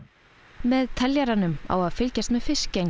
með teljaranum á að fylgjast með fiskgengd